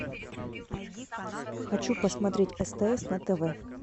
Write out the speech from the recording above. хочу посмотреть стс на тв